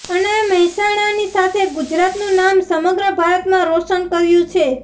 અને મહેસાણાની સાથે ગુજરાતનું નામ સમગ્ર ભારતમાં રોશન કર્યું છે